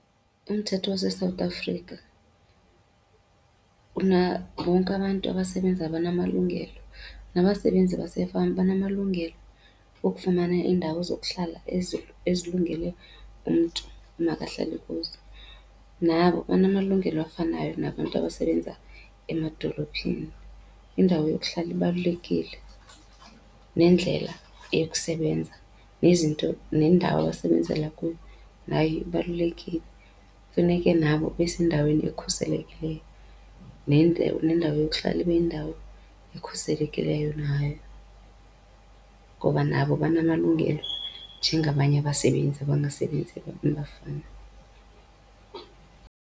Umthetho waseSouth Africa bonke abantu abasebenzayo banamalungelo. Nabasebenzi basefama banamalungelo okufumana iindawo zokuhlala ezilungele umntu makahlale kuzo. Nabo banamalungelo afanayo nabantu abasebenza amadolophini. Indawo yokuhlala ibalulekile, nendlela yokusebenza, nezinto nendawo abasebenzela kuyo nayo ibalulekile. Funeke nabo besendaweni ekhuselekileyo, nendawo yokuhlala ibe yindawo ekhuselekileyo nayo ngoba nabo banamalungelo njengabanye abasebenzi abangasebenziyo emafana.